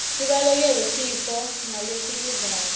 sibalekele tifo ngalesikudlako